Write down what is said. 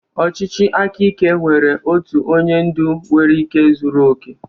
Ọchịchị aka ike nwere otu onye ndu nwere ike zuru oke.